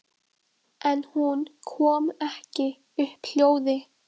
En hún kom ekki upp hljóði.